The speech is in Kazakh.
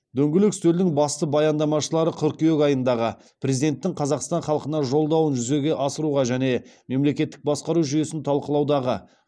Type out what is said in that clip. дөңгелек үстелдің басты баяндамашылары қыркүйек айындағы президенттің қазақстан халқына жолдауын жүзеге асыруға және мемлекеттік басқару жүйесін талқылаудағы